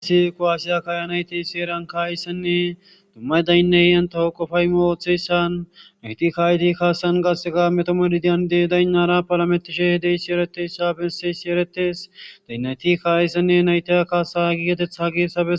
Ero tani ha'i be'ishin ha misileza boola beetishe diza daro asati wolqqama oothoza oothishe issippe gididi eqqidi dizayssa besishin ha asatikka kawo oosanchchata gidishin izetappe gede guye baggara kaameynne meedosati dembbazan beetishe dizayssi qonccekko.